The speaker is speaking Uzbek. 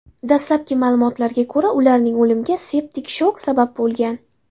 Dastlabki ma’lumotlarga ko‘ra, ularning o‘limiga septik shok sabab bo‘lgan.